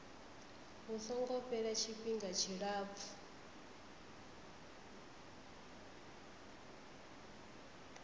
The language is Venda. hu songo fhela tshifhinga tshilapfu